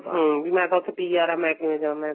ਹਮ ਵੀ ਮੈਂ ਤਾਂ ਉੱਥੇ PR ਹਾਂ ਮੈਂ ਕਿਵੇਂ ਜਾਵਾ